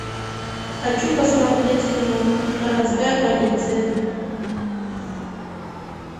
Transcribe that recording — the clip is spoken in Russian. хочу посмотреть кино городская полиция